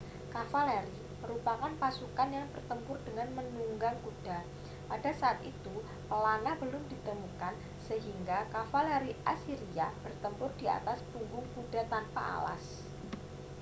kavaleri merupakan pasukan yang bertempur dengan menunggang kuda pada saat itu pelana belum ditemukan sehingga kavaleri asiria bertempur di atas punggung kuda tanpa alas